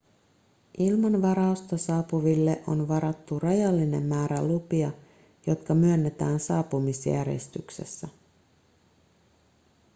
ilman varausta saapuville on varattu rajallinen määrä lupia jotka myönnetään saapumisjärjestyksessä